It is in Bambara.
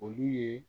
Olu ye